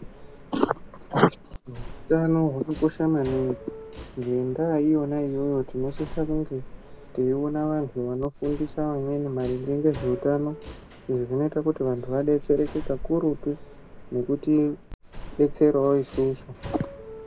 Utano hwakakosha maningi ngendaa iyona iyoyo tinosisa kunge teyiona vantu vanofundisa amweni maringe ngezveutano zvinoite kuti vantu vadetsereke kakurutu nekutidetserawo isusu.